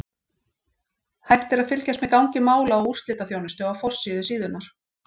Hægt er að fylgjast með gangi mála á úrslitaþjónustu á forsíðu síðunnar.